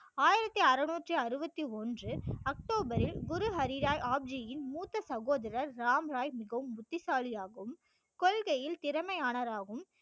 ஆயிரத்தி அறுநூற்றி அறுபத்தி ஒன்று அக்டோபரில் குரு ஹரி ராய் ஆப் ஜி யின் மூத்த சகோதரர் ராம் ராய் மிகவும் புத்திசாலியாகவும் கொள்கையில் திறமையானவராகவும்